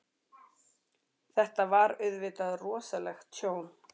Þetta var auðvitað rosalegt tjón.